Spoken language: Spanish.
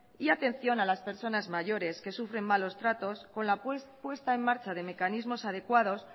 y atención a las personas mayores que sufren malos tratos con la puesta en marcha de mecanismos adecuados